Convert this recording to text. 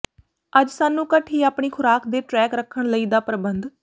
ਅੱਜ ਸਾਨੂੰ ਘੱਟ ਹੀ ਆਪਣੀ ਖ਼ੁਰਾਕ ਦੇ ਟਰੈਕ ਰੱਖਣ ਲਈ ਦਾ ਪਰਬੰਧ